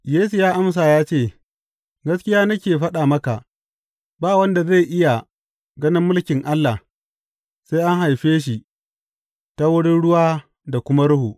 Yesu ya amsa ya ce, Gaskiya nake faɗa maka, ba wanda zai iya ganin mulkin Allah sai an haife shi ta wurin ruwa da kuma Ruhu.